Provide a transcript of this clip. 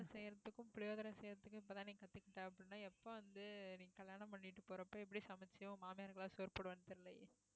செய்யறதுக்கும் புளியோதரை செய்யறதுக்கு இப்பதான் நீ கத்துக்கிட்ட அப்படின்னா எப்ப வந்து நீ கல்யாணம் பண்ணிட்டு போறப்ப எப்படி சமைச்சு மாமியாருக்கெல்லாம் சோறு போடுவேன்னு தெரியலயே